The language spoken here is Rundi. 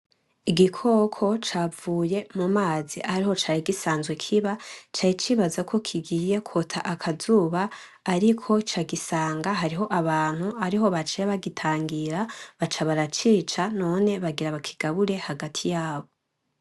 Igikoko capfuye mu mazi ariho cari gisanzwe kiba, cari cibazako kigiye kwota akazuba ,ariko cagisanga abantu ariho baciye bagitangira baca baracica, none bagira bakigabure hagati yabo.